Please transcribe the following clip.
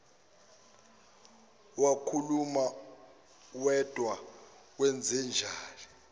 wakhuluma wedwa kwenzenjani